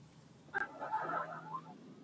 Ók á brúarstólpa og bíl